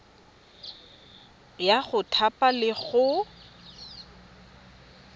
ya go thapa le go